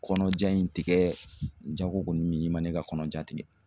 Kɔnɔja in tigɛ jago kɔni minin man ne ka kɔnɔja tigɛ.